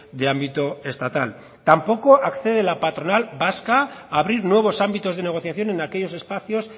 de ámbito estatal tampoco accede la patronal vasca a abrir nuevos ámbitos de negociación en aquellos espacios